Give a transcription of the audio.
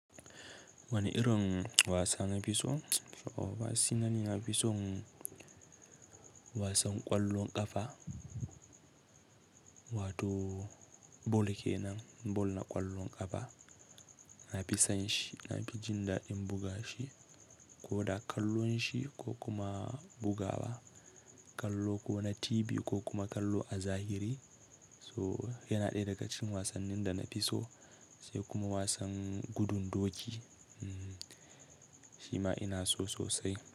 Wani irin wasa na fi so? To ba si nani na fi son wasan ƙwallon ƙafa, wato bol kenan, bol na ƙwallon ƙafa. Na fi jin daɗin buga shi, ko da kallon shi ko kuma bugawa. Kallo ko na TV ko kuma kallo a zahiri. So yana ɗaya daga cikin wasannin da na fi so, sai kuma wasan gudun doki. Shi ma ina so sosai.